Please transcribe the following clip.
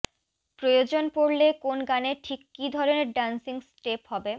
প্রয়োজন পড়লে কোন গানে ঠিক কী ধরণের ডান্সিং স্টেপ হবে